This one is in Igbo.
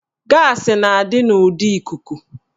Gaasị na-adị n'ụdị ikuku